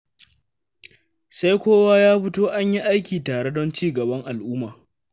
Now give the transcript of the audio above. Sai kowa ya fito an yi aiki tare don cigaban al'umma.